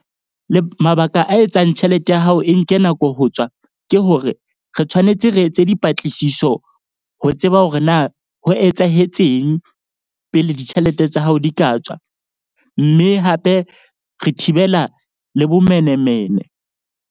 Le mabaka a etsang tjhelete ya hao e nke nako ho tswa. Ke hore re tshwanetse re etse dipatlisiso ho tseba hore na ho etsahetseng pele ditjhelete tsa hao di ka tswa. Mme hape re thibela le bomenemene.